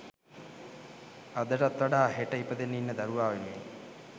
අදටත් වඩා හෙට ඉපදෙන්න ඉන්න දරුවා වෙනුවෙන්.